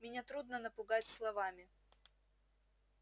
меня трудно напугать словами